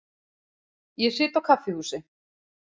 Ég sit á kaffihúsi.